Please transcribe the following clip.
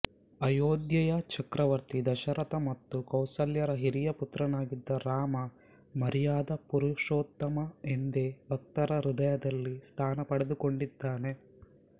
ಅಯೋಧ್ಯೆಯ ಚಕ್ರವರ್ಥಿ ದಶರಥ ಮತ್ತು ಕೌಸಲ್ಯರ ಹಿರಿಯ ಪುತ್ರನಾಗಿದ್ದ ರಾಮ ಮರ್ಯಾದ ಪುರುಷೋತ್ತಮ ಎಂದೇ ಭಕ್ತರ ಹೃದಯದಲ್ಲಿ ಸ್ಥಾನ ಪಡೆದುಕೊಂಡಿದ್ದಾನೆ